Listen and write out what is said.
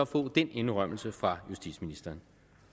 få den indrømmelse fra justitsministeren